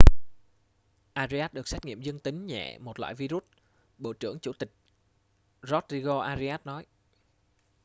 arias được xét nghiệm dương tính nhẹ một loại vi-rút bộ trưởng chủ tịch rodrigo arias nói